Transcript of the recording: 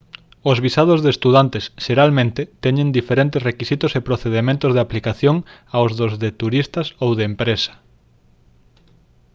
os visados de estudantes xeralmente teñen diferentes requisitos e procedementos de aplicación aos dos de turistas ou de empresa